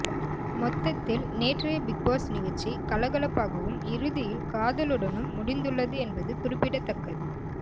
மொத்தத்தில் நேற்றைய பிக்பாஸ் நிகழ்ச்சி கலகலப்பாகவும் இறுதியில் காதலுடனும் முடிந்துள்ளது என்பது குறிப்பிடத்தக்கது